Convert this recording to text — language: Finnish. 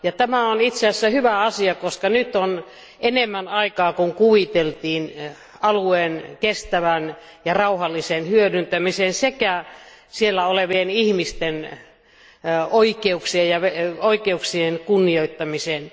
Tämä on itse asiassa hyvä asia, koska nyt on enemmän aikaa kuin kuviteltiin alueen kestävään ja rauhalliseen hyödyntämiseen sekä siellä olevien ihmisten oikeuksien kunnioittamiseen.